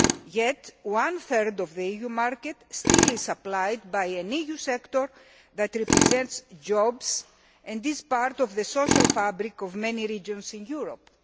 Yet one third of the EU market is still supplied by an EU sector that represents jobs and this part of the social fabric of many regions in Europe.